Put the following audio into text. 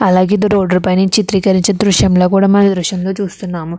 అలాగే ఇది రోడ్డు పై నుంచి చిత్రీకరించిన దృశ్యంలో కూడా మన దృశ్యంగా చూస్తున్నాము.